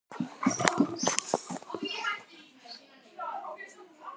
enn betri leikur.